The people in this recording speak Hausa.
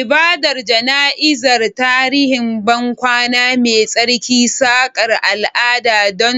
Ibadar jana'izar, tarihin bankwana mai tsarki, sakar al'ada don